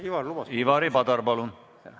Ivari Padar, palun!